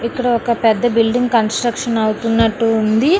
ఇక్కడ ఒక పెద్ద బిల్డింగ్ కన్స్ట్రక్షన్ అవుతున్నట్టుంది.